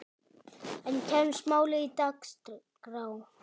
En kemst málið á dagskrá?